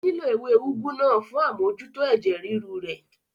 Ó nílò ewé úgú náà fún amójútó ẹ̀jẹ̀ ríru rẹ̀